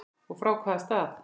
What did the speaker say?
Og frá hvaða stað?